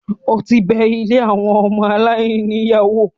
o ti bẹ “ilé àwọn ọmọ aláìní ìyá ” wò?